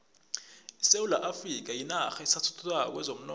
isewula afrika yinarha esathuthukako kwezomnotho